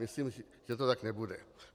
Myslím, že to tak nebude.